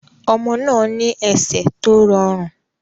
Ọmọ náà ní ẹsẹ̀ tó rọrùn.